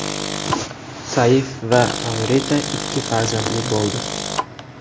Saif va Amrita ikki farzandli bo‘ldi.